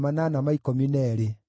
na cia Bebai ciarĩ 623,